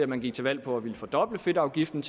man gik til valg på at ville fordoble fedtafgiften